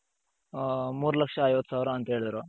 ಹ ಮೂರು ಲಕ್ಷ ಐವತ್ತು ಸಾವಿರ ಅಂತ ಹೇಳದ್ರು